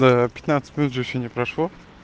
ну пятнадцать минут же ещё не прошло